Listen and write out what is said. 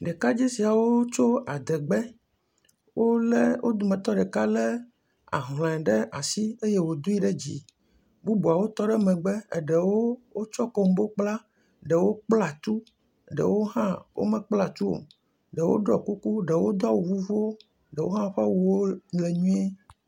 Ɖekadze siawo tso adegbe, wolé..wo dometɔ ɖeka lé ahlɔe ɖe asi eye wòdoe ɖe dzi bubuawo tɔ ɖe megbe, eɖewo wotsɔ kombo kpla, ɖewo kpla tu ɖewo mekpla tu o, ɖewo ɖɔkuku ɖewo do awu vuvuwo, ɖewo hã ƒe awu le nyuie.